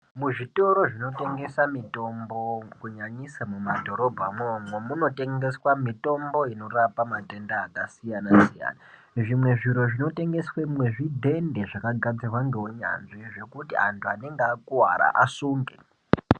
Kuzvitoro zvinotengesa mitombo kunyanyisa mumadhorobhamwo umwomwo munotengeswa mitombo inorapa matenda akasiyana siyana zvimwe zviro zvinotengeswemwo zvidhende zvakagadzirwa ngeunyanzvi zvokuti antu anenge akuwara asunge.